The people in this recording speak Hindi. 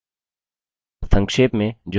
संक्षेप में जो हमने सीखा